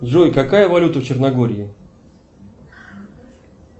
джой какая валюта в черногории